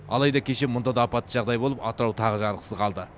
алайда кеше мұнда да апатта жағдай болып атырау тағы жарықсыз қалды